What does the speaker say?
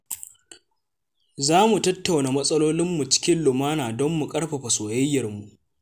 Za mu tattauna matsalolinmu cikin lumana don mu ƙarfafa soyayyar mu.